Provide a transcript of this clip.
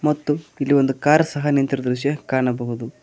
ಮತ್ತು ಇಲ್ಲಿ ಒಂದು ಕಾರ್ ಸಹ ನಿಂತಿರುವ ದೃಶ್ಯ ಕಾಣಬಹುದು.